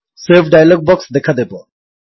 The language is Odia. ସେଭ୍ ଡାୟଲଗ୍ ବକ୍ସ ଦେଖାଦେବ